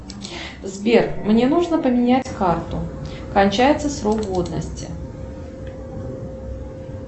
сбер мне нужно поменять карту кончается срок годности